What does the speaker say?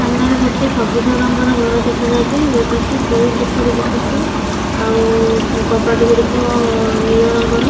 ସାମ୍ନାରେ ଗୋଟେ ସବୁଜ ରଙ୍ଗର ଘର ଦେଖାଯାଉଚି। ଯୋଉଟାକି ଦୁଇ କୋଠରୀ ବିଶିଷ୍ଟ ଆଉ କବାଟ ଗୁଡ଼ିକ ନୀଳ ରଙ୍ଗର।